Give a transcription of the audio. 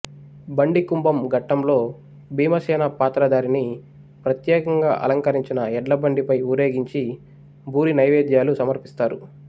బండికుంభం ఘట్టంలో భీమసేన పాత్రధారిని ప్రత్యేకంగా అలంకరించిన ఎడ్లబండిపై ఊరేగించి బూరి నైవేద్యాలు సమర్పిస్తారు